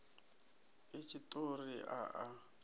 a itshi tshiṱori a a